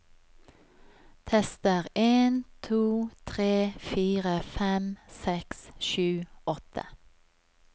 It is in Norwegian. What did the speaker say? Tester en to tre fire fem seks sju åtte